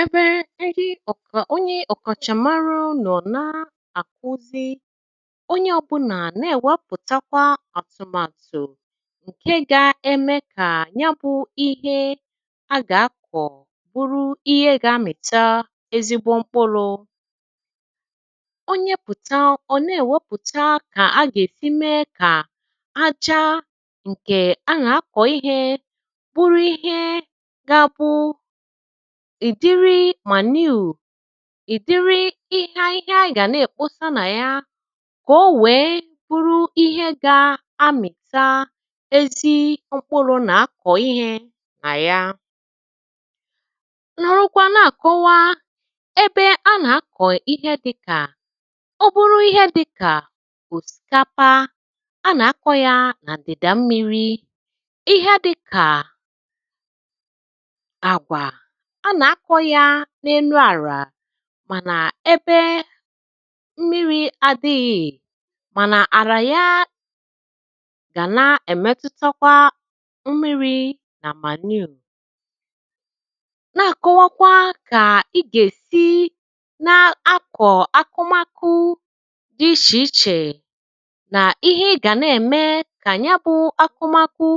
Ebe ndị ọ̀kà onye ọ̀kàchàmarụ unu na ekwu sị, onye ọ̇bụ̇nà nà-èwepụ̀takwa àtụ̀màtụ̀ ǹke ga-eme kà ya bụ̇ ihe agà-akọ̀ bụrụ ihe gȧ-amị̀ta ezigbo mkpụlụ. Onye pụ̀ta ọ̀ nà-èwepụ̀ta kà agà-èsi mee kà aja ǹkè ana akọ ihe bụrụ ihe g’abụ ìdiri manure, ìdiri ihe ahịhịa a gà-àna èkposa nà ya kà o wèe bụrụ ihe gȧ-amìta ezi mkpụrụ mà-akọ̀ ihė nà ya. Nọrọ kwa na-àkọwa ebe a nà-akọ̀ ihe dị̇kà, ọ bụrụ ihe dị̇kà òsìkapa a nà-akọ̇ ya nà ndị̀dà mmiri̇. Ihe dị̇kà àgwà, a nà-akọ̇ ya n’enu àrà mànà ebe mmiri̇ adị̇ghị̀ mànà, àrà ya gà na-èmetutakwa mmịrị nà manure. Na-àkọwakwa kà i gà-èsi na-akọ̀ akụmakụ dị ichè ichè nà ihe ị gà na-ème kà nya bụ akụmakụ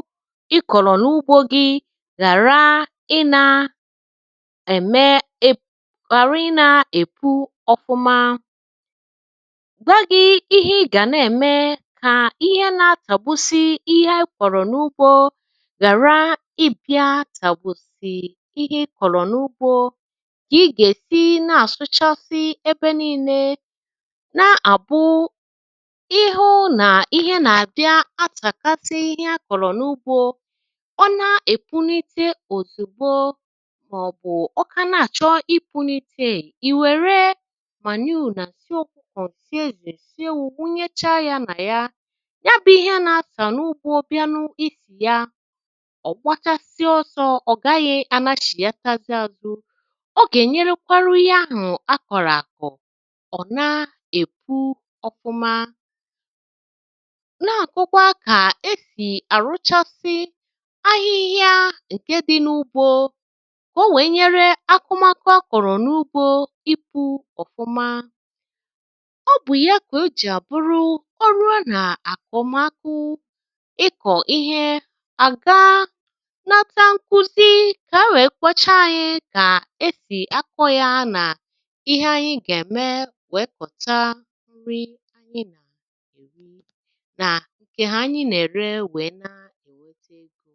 ị kọ̀rọ̀ n’ugbȯ gị ghara ị na ème ghara ị nȧ-èpu ọfụma. Gwa gị ihe ị gà na-ème kà ihe na-atàgbusi ihe a kọrọ n’ugbȯ ghàra ịbị̇a àtàgbusì ihe ị kọ̀rọ̀ n’ugbȯ kà ị gà-èsi na-àsụchasị ebe nii̇nė na-àbụ ịhụ̇ nà ihe nà-abịa atàkasị ihe akọ̀rọ̀ n’ugbȯ. Ọ na-èpunite òzugbo màọ̀bụ̀ ọkà na-àchọ ịpunite è, ìwèrè manure nà nsị ọkụkọ, nsị ezì, nsị ewu nwunye cha ya nà ya. Ya bụ̇ ihe na-ata n’ugbȯ bịa nụ isi ya, ọ̀ gbachasịa ọsọ ọ̀ gaghị̇ anȧchị̀ata zi azụ. Ọ gà-ènyerekwarụ onye ahụ̀ akọ̀rọ̀ àkọ̀ ọ̀ na epu ọfụma. N’akọkwa ka esì àrụchasị ahịhịa ǹke dị n’ugbȯ kà o wèe nyere akụmakụ akọ̀rọ̀ n’ugbȯ ipu̇ ọ̀fụma. Ọ bụ ya ka o jì àbụru ọ ruo nà àkụmakụ ịkọ̀ ihe àga nata nkuzi kà e wèe kwocha ȧnyi̇ kà esì akọ̇ yȧ nà ihe anyi gà-ème wèe kọ̀ta nri anyị nà nke anyị nà-ère na èweta egȯ.